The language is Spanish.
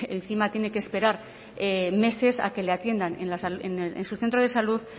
encima tiene que esperar meses a que le atiendan en su centro de salud